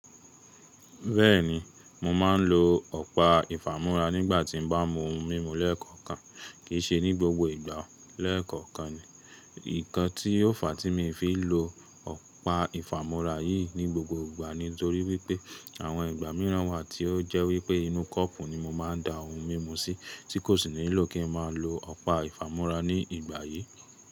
Bẹ́ẹ̀ni, mo máa ń lo ọ̀pá ìfàmúrá nígbà tí n bá mú ohun mímu lẹ́ẹ̀kọ̀kan kì í ṣe ní gbogbo ìgbà o lẹ́ẹ̀kọ̀kan. Nǹkan tí ó fà á tí mi fi lò ọ̀pá ìfàmúrá yìí ní gbogbo ìgbà ni nítorí wípé àwọn ìgbà míràn wà tí ó jẹ́ wípé inú kọ́ọ̀pù ni mo máa ń da ohun mímu sí tí kò sì nílò kí n máa lo ọ̀pá ìfàmúrá ní ìgbà yìí.